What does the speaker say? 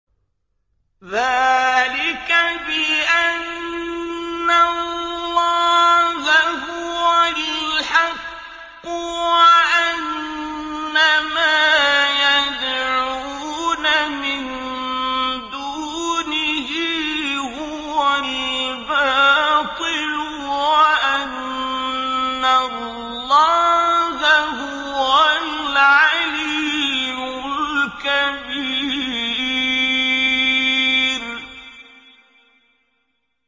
ذَٰلِكَ بِأَنَّ اللَّهَ هُوَ الْحَقُّ وَأَنَّ مَا يَدْعُونَ مِن دُونِهِ هُوَ الْبَاطِلُ وَأَنَّ اللَّهَ هُوَ الْعَلِيُّ الْكَبِيرُ